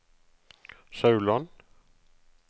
Sauland